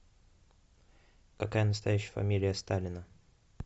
какая настоящая фамилия сталина